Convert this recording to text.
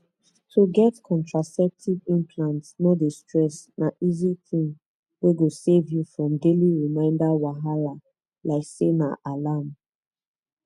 to get contraceptive implant no dey stress na easy thing wey go save you from daily reminder wahala like say na alarm